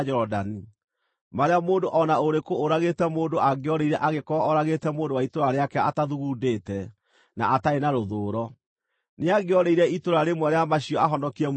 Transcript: marĩa mũndũ o na ũrĩkũ ũragĩte mũndũ angĩorĩire angĩkorwo oragĩte mũndũ wa itũũra rĩake atathugundĩte, na atarĩ na rũthũũro. Nĩangĩorĩire itũũra rĩmwe rĩa macio ahonokie muoyo wake.